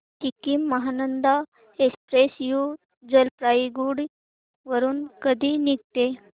Sikkim Mahananda Express New Jalpaiguri वरून कधी निघते